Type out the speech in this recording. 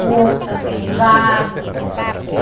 Porco também, gado.